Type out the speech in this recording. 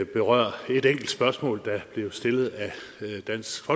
berøre et enkelt spørgsmål der blev stillet af dansk